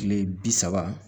Kile bi saba